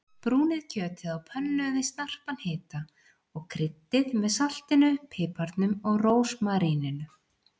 Brúnið kjötið á pönnu við snarpan hita og kryddið með saltinu, piparnum og rósmaríninu.